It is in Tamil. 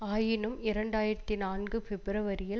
ஆயினும் இரண்டு ஆயிரத்தி நான்கு பிப்பிரவரியில்